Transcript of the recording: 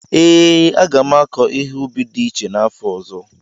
ee, a ga m akọ ihe ubi dị iche n'afọ ọzọ.